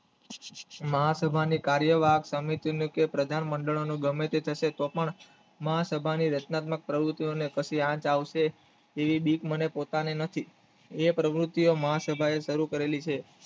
મહા સભાની કાર્ય વહી સમિતિની કે પ્રધાન મંડળી ગમે તે પણ મહા સભાની રચનાત્મક પ્રવુતિ ને પછી આજ આવશે એવી બીક મને પોતાને હતી એ પ્રવૃત્તિ મહા સભાએ સારું કરેલી છે